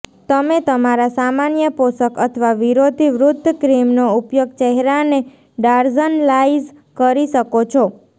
તમે તમારા સામાન્ય પોષક અથવા વિરોધી વૃદ્ધ ક્રીમનો ઉપયોગ ચહેરાને ડાર્ઝનલાઈઝ કરી શકો છો